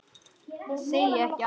Segi ekki annað.